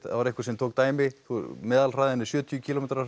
það var einhver sem tók dæmi meðal hraðinn er sjötíu kílómetrar